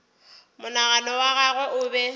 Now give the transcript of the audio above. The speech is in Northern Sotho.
monagano wa gagwe o be